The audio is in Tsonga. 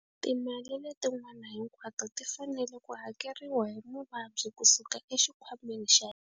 Timali letin'wana hinkwato ti fanele ku hakeriwa hi muvabyi kusuka exikhwameni xa.